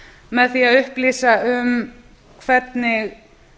með því að upplýsa um hvernig